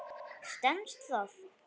Stenst það?